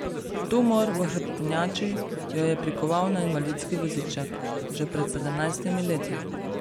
Tumor v hrbtenjači jo je prikoval na invalidski voziček že pred sedemnajstimi leti.